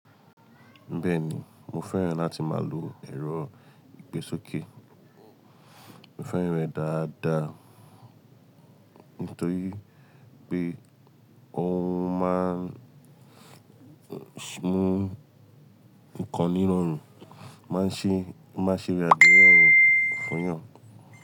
Bẹ́ẹ̀ni, mo fẹ́ràn láti máa lo ẹ̀rọ ìgbésókè. Mo fẹ́ràn rẹ̀ dáadáa nítorí pé ó máa ń mú nkan ní rọrùn, máa ń ṣe, máa ń ṣe ra irọrùn fún yàn.